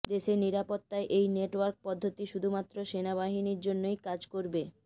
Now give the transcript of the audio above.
দেশের নিরাপত্তায় এই নেটওয়ার্ক পদ্ধতি শুধুমাত্র সেনাবাহিনীর জন্যই কাজ করবে